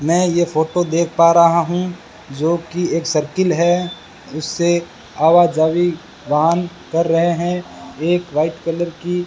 मैं ये फोटो देख पा रहा हूं जो कि एक सर्कल है उसे आवा जावी वाहन कर रहे हैं एक व्हाइट कलर की --